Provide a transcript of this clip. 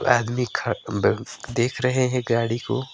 एह आदमी ख ब देख रहे है गाड़ी को।